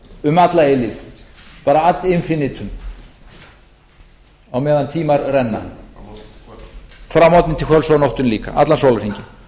um alla eilífð bara ad infinitum á meðan tímar renna frá morgni til kvölds og á nóttunni líka allan sólarhringinn